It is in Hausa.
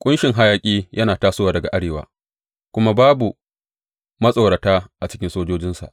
Ƙunshin hayaƙi yana tasowa daga arewa, kuma babu matsorata a cikin sojojinsa.